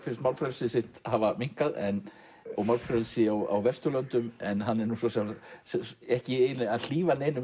finnst málfrelsi sitt hafa minnkað og málfrelsi á Vesturlöndum en hann er ekki að hlífa neinum